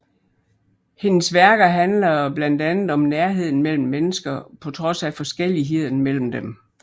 Hendes værker handler blandt andet om nærheden mellem mennesker på trods af forskelligheden mellem dem